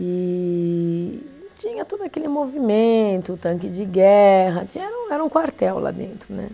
E tinha todo aquele movimento, tanque de guerra, tinha era um, era um quartel lá dentro, né?